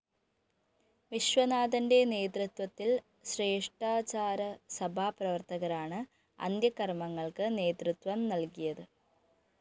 വിശ്വനാഥന്റെ നേതൃത്വത്തില്‍ ശ്രേഷ്ഠാചാരസഭാ പ്രവര്‍ത്തകരാണ് അന്ത്യകര്‍മ്മങ്ങള്‍ക്ക് നേതൃത്വം നല്‍കിയത്